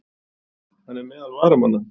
Hann er meðal varamanna.